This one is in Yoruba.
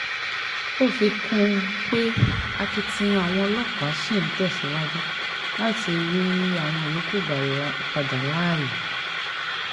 ó fi kún un pé akitiyan àwọn ọlọ́pàá ṣì ń tẹ̀síwájú láti rí àwọn yòókù gbà padà láàyè